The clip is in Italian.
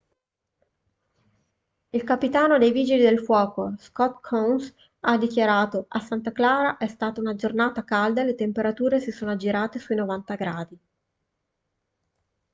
il capitano dei vigili del fuoco scott kouns ha dichiarato a santa clara è stata una giornata calda e le temperature si sono aggirate sui 90 gradi